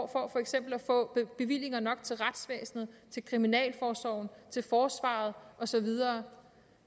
for eksempel at få bevillinger nok til retsvæsenet til kriminalforsorgen til forsvaret og så videre